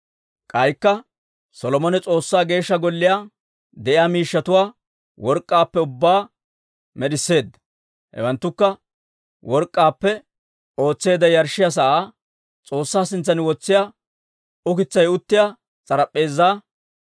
K'aykka Solomone S'oossaa Geeshsha Golliyaa de'iyaa miishshatuwaa work'k'aappe ubbaa med'isseedda. Hewanttukka work'k'aappe ootseedda yarshshiyaa sa'aa, S'oossaa sintsan wotsiyaa ukitsay uttiyaa s'arap'p'eezaa,